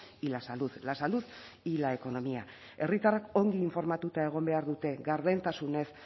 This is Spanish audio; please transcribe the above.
y la salud la salud y la economía herritarrak ongi informatuta egon behar dute gardentasunez